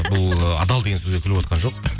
бұл адал деген сөзге күліп отырған жоқ